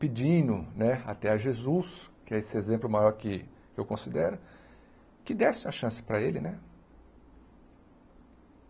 Pedindo né até a Jesus, que é esse exemplo maior que eu considero, que desse a chance para ele, né?